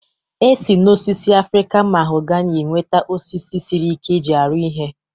E si n'osisi Afrịkan mahogani enweta osisi sịrị ike e ji arụ ihe